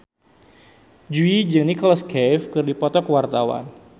Jui jeung Nicholas Cafe keur dipoto ku wartawan